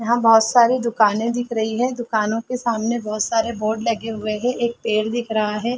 यहाँ बहुत सारे दुकाने दिख रही है दुकानों के सामने बहुत सारे बोर्ड लगे हुए हैं एक पेड़ दिख रहा है।